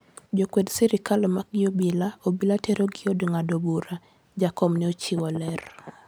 "Jo kwed sirikal omaki gi obila, obila tero gi e od ng'ado bura,"Jakom ne ochiwo ler